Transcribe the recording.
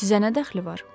Sizə nə dəxli var?